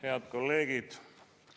Head kolleegid!